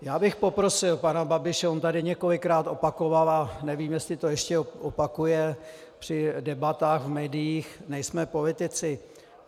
Já bych poprosil pana Babiše, on tady několikrát opakoval a nevím, jestli to ještě opakuje při debatách v médiích - nejsme politici.